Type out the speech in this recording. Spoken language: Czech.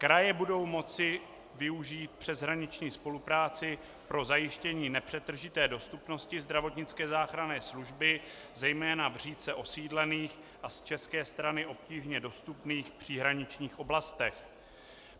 Kraje budou moci využít přeshraniční spolupráci pro zajištění nepřetržité dostupnosti zdravotnické záchranné služby zejména v řídce osídlených a z české strany obtížně dostupných příhraničních oblastech.